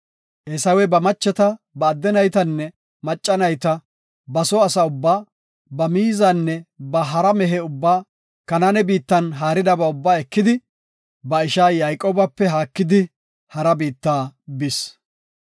Eesawey ba macheta, ba adde naytanne macca nayta, ba soo asa ubbaa, ba miizanne ba hara mehe ubbaa Kanaane biittan haaridaba ubbaa ekidi ba isha Yayqoobape haakidi hara biitta bis.